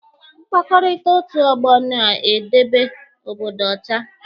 Mkpakọrịta otu ọgbọ na-edebe obodo ọcha.